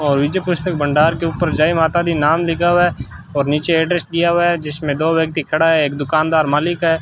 और नीचे पुस्तक भंडार के ऊपर जय माता दी नाम लिखा हुआ है और नीचे एड्रेस दिया हुआ है जिसमें दो व्यक्ति खड़ा है एक दुकानदार मालिक है।